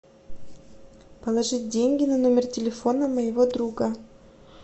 положить деньги на номер телефона моего друга